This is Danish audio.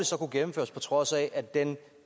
så kunne gennemføres på trods af at den